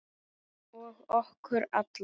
Og okkur alla.